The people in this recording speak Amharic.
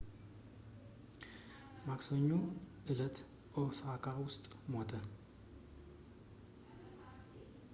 ማክሰኞ እለት ኦሳካ ውስጥ ሞተ